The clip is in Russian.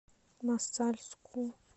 мосальску